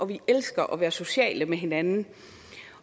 vi elsker at være sociale med hinanden